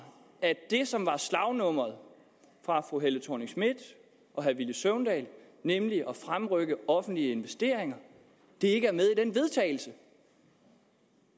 at det som var slagnumret fra fru helle thorning schmidt og herre villy søvndal nemlig at fremrykke offentlige investeringer ikke er med i den vedtagelse